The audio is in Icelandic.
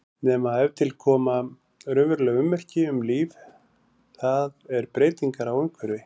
Nema ef til koma raunveruleg ummerki um líf, það er breytingar á umhverfi.